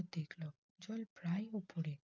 জল প্রায়ই উপরে